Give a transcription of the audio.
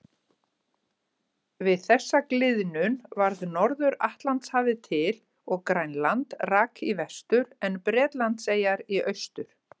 Við þessa gliðnun varð Norður-Atlantshafið til og Grænland rak í vestur en Bretlandseyjar í austur.